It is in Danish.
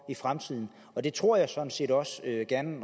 i fremtiden det tror jeg sådan set også